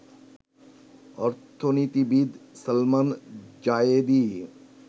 অর্থনীতিবিদ সালমান জায়েদী